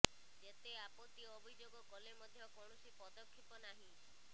ଯେତେ ଆପତ୍ତି ଅଭିଯୋଗ କଲେ ମଧ୍ୟ କୌଣସି ପଦକ୍ଷେପ ନାହିଁ